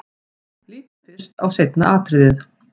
Lítum fyrst á seinna atriðið.